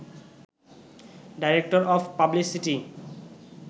director of publicity